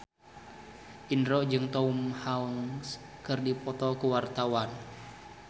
Indro jeung Tom Hanks keur dipoto ku wartawan